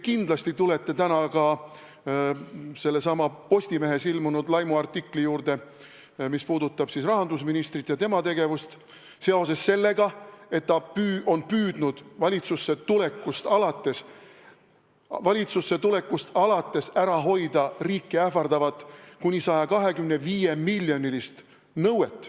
Te tulete ka kindlasti täna Postimehes ilmunud laimuartikli juurde, mis puudutab rahandusministrit ja tema tegevust, seoses sellega, et ta on püüdnud valitsusse tulekust alates ära hoida riiki ähvardavat kuni 125-miljonilist nõuet.